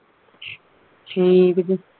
ਠੀਕ ਜੇ